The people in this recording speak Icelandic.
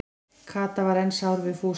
Kata var enn sár við Fúsa.